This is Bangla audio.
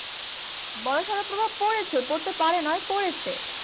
বড়সড় প্রভাব পড়েছে পড়তে পারে নয় পরেছে।